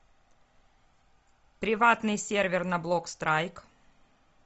приватный сервер на блок страйк